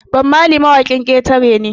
Bob Marley mawakin ƙetare ne